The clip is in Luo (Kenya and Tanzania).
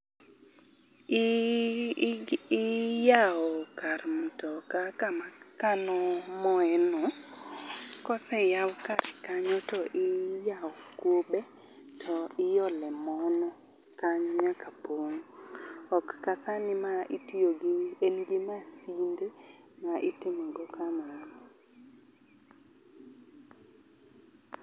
Ii, i iyawo kar mtoka kama kano moye no, koseyaw kar kanyo to iyawo kube to iolo mo no kanyo nyaka pong'. Ok kasani ma itiyo gi en gi masinde ma itimogo kamano.